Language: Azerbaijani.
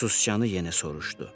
Sicanı yenə soruşdu.